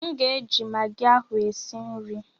M ga-eji magị ahụ e si nri.